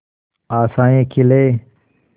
आशाएं खिले